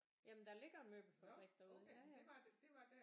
Ja jamen der ligger en møbelfabrik derude ja ja